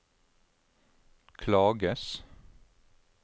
klages